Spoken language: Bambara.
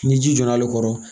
Ni ji jɔra ale kɔrɔ